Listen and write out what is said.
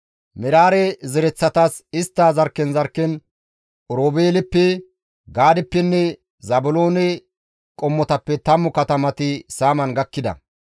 Meraare zereththatas istta zarkken zarkken Oroobeeleppe, Gaadeppenne Zaabiloone qommotappe 10 katamati saaman gakkida.